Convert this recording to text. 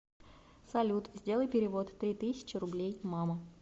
салют сделай перевод три тысячи рублей мама